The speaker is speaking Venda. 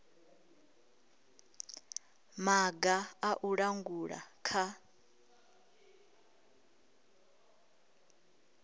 maga a u langula kha